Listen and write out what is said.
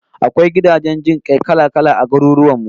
Akwai gidajen jin kai kala-kala a garurwan mu